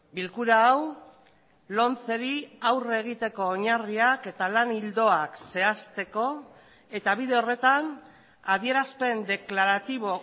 bilkura hau lomceri aurre egiteko oinarriak eta lan ildoak zehazteko eta bide horretan adierazpen deklaratibo